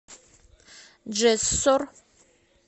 джессор